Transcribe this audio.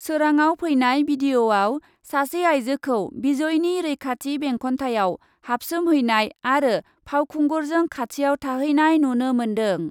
सोराङाव फैनाय भिडिअ'आव सासे आइजोखौ भिजयनि रैखाथि बेंखन्थायाव हाबसोबहैनाय आरो फावखुंगुरजों खाथियाव थाहैनाय नुनो मोन्दों ।